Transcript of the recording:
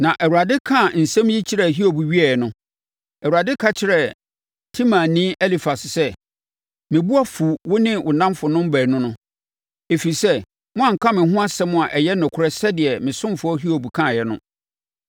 Na Awurade kaa nsɛm yi kyerɛɛ Hiob wieeɛ no, Awurade ka kyerɛɛ Temanni Elifas sɛ, “Me bo afu wo ne wo nnamfonom baanu no, ɛfiri sɛ, moanka me ho asɛm a ɛyɛ nokorɛ sɛdeɛ me ɔsomfoɔ Hiob kaeɛ no.